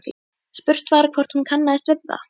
Spurt var hvort hún kannaðist við það?